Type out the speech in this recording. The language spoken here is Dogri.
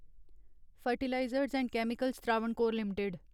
fertilisers and chemicals Travancore limited